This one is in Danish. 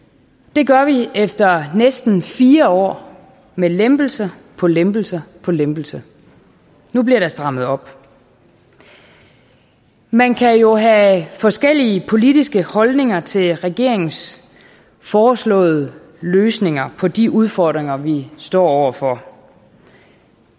det gør vi efter næsten fire år med lempelse på lempelse på lempelse nu bliver der strammet op man kan jo have forskellige politiske holdninger til regeringens foreslåede løsninger på de udfordringer vi står over for